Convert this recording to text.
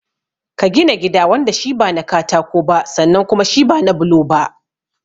Ka gina gida wanda shi ba na katako ba sannan kuma shi ba na bulo ba.